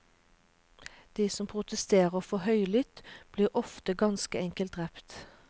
De som protesterer for høylytt, blir ofte ganske enkelt drept.